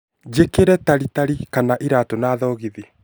njikire taritari kana iraatu na thogithi